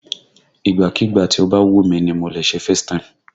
Ìgbàkígbà tí ó bá wù mí ni mo lè ṣe FaceTime